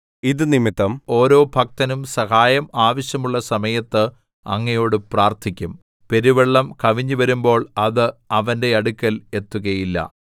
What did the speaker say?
ഇതു നിമിത്തം ഓരോ ഭക്തനും സഹായം ആവശ്യമുള്ള സമയത്ത് അങ്ങയോട് പ്രാർത്ഥിക്കും പെരുവെള്ളം കവിഞ്ഞുവരുമ്പോൾ അത് അവന്റെ അടുക്കൽ എത്തുകയില്ല